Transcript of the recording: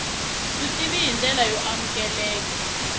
vutivi hi ndlela yo amukeleka